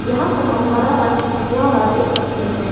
यहां पर हम हरा रंग हुआ वा देख सकते हैं।